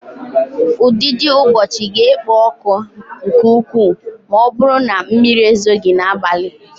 Ụdidiụbọọchi ga-ekpo ọkụ nke ukwuu ma ọ bụrụ na mmiri ezoghị n'abalị.